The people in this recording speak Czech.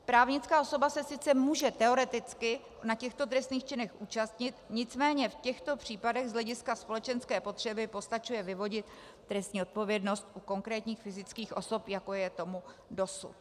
Právnická osoba se sice může teoreticky na těchto trestných činech účastnit, nicméně v těchto případech z hlediska společenské potřeby postačuje vyvodit trestní odpovědnost u konkrétních fyzických osob, jako je tomu dosud.